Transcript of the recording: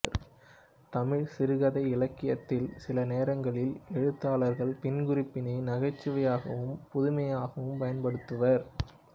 தமிழ் சிறுகதை இலக்கியத்தில் சில நேரங்களில் எழுத்தாளர்கள் பின்குறிப்பினை நகைச்சுவையாகவும் புதுமையாகவும் பயன்படுத்துவர்